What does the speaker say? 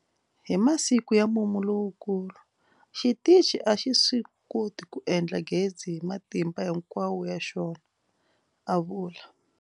Hi masiku ya mumu lowukulu, xitichi a xi swi koti ku endla gezi hi matimba hinkwawo ya xona, a vula.